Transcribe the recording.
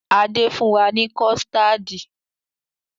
Adé fún wa ni kọ̀stáádì